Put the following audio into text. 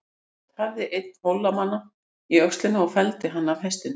Skot hæfði einn Hólamanna í öxlina og felldi hann af hestinum.